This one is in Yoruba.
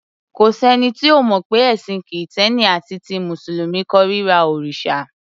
Kò sẹ́ni tí ò mọ̀ pé ẹ̀sìn Kìtẹ́ẹ́nì àti ti Mùsùlùmí kórira òrìṣà.